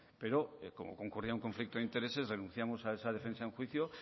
pero como concurría un conflicto de intereses renunciamos a esa defensa en juicio